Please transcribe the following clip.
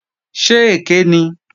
Ṣé èké ni?